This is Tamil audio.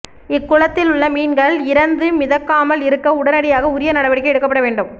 இக்குளத்தில் உள்ள மீன்கள் இறந்து மிதக்காமல் இருக்க உடனடியாக உரிய நடவடிக்கை எடுக்கப்பட வேண்டும்